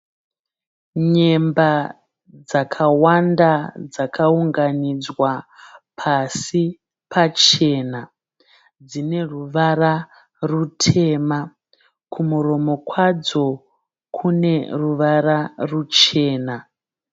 Nyemba dzakawanda dzakaunganidzwa pasi pachena. Dzine ruvara rutema. Kumuromo kwadzo kune ruvara ruchena.